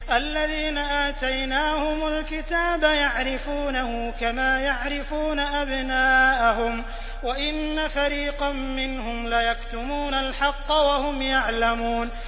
الَّذِينَ آتَيْنَاهُمُ الْكِتَابَ يَعْرِفُونَهُ كَمَا يَعْرِفُونَ أَبْنَاءَهُمْ ۖ وَإِنَّ فَرِيقًا مِّنْهُمْ لَيَكْتُمُونَ الْحَقَّ وَهُمْ يَعْلَمُونَ